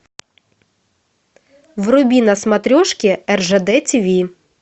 вруби на смотрешке ржд тиви